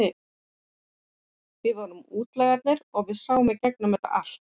Við vorum útlagarnir og sáum í gegnum þetta allt.